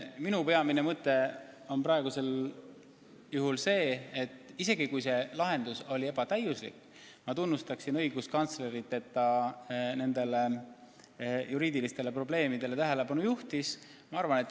Minu peamine mõte praegu on, et isegi kui see lahendus pole täiuslik, ma tunnustan õiguskantslerit, et ta nendele juriidilistele probleemidele tähelepanu juhtis.